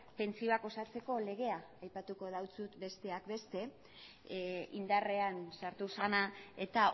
pentsioak osatzeko legea aipatuko dizut besteak beste indarrean sartu zena eta